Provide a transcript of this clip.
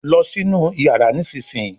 lọ sí inú iyàrá nísìsiyìí!